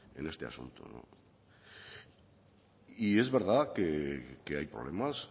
en este asunto es verdad que hay problemas